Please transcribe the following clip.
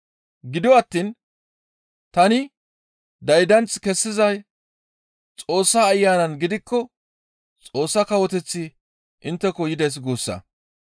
Gido attiin tani daydanth kessizay Xoossa Ayanan gidikko Xoossa Kawoteththi intteko yides guussa.